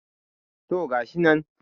to gashi nan